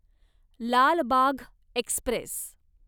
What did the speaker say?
Lal Bagh Express